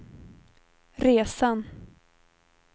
resan